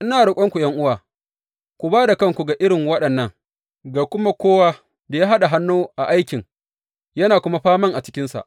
Ina roƙonku ’yan’uwa, ku ba da kanku ga irin waɗannan, ga kuma kowa da ya haɗa hannu a aikin, yana kuma faman a cikinsa.